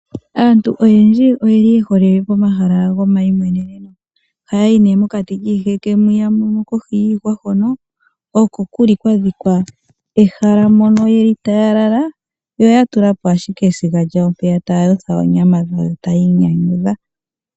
Aantu oyendji oyeli yehole pomahala go mainyanyudho. Oha yayi nee mokati kiiheke mwiya kohi yiihwa hono oko kuli kodhikwa yehala mono yeli taya lala, yo ya tula po ashike esiga lyawo mpeya taya yotha oonyama dhawo taya inyanyudha.